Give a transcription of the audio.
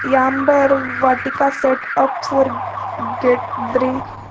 Yambar vatika set up for get drink.